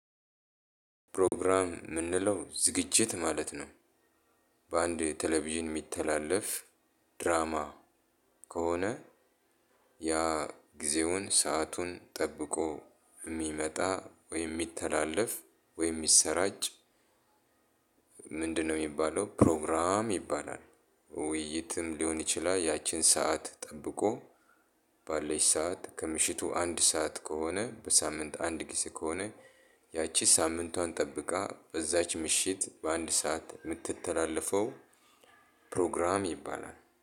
ፕሮግራም ምንለው ዝግጅት ማለት ነው። በአንድ ቴሌቪዥን የሚተላለፍ ድራማ ከሆነ ያ ጊዜውን ሰአቱን ጠብቆ ሚመጣ ወይም ሚተላለፍ ወይም ሚሰራጭ ምንድነው? የሚባለው ፕሮግራም ይባላል። ውይይትም ሊሆን ይችላል። ያችን ሰዓት ጠብቆ ባለች ሰዓት ከምሽቱ አንድ ሰዓት ከሆነ በሳምንት አንድ ጊዜ ከሆነ። ያቺ ሳምንቷን ጠብቃ በዛች ምሽት በአንድ ሰዓት የምትተላለፈው ፕሮግራም ይባላል